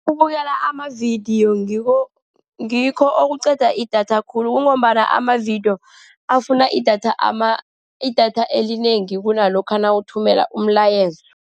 Ukubukela amavidiyo ngikho, ngikho okuqeda idatha khulu, kungombana amavidiyo afuna idatha idatha elinengi kunalokha mawuthumela umlayezo.